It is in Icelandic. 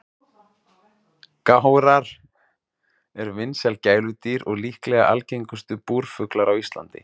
Gárar eru vinsæl gæludýr og líklega algengustu búrfuglar á Íslandi.